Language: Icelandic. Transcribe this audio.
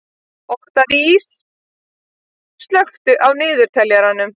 Oktavías, slökktu á niðurteljaranum.